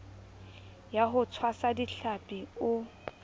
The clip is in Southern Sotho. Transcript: ya ho tshwasa dihlapi o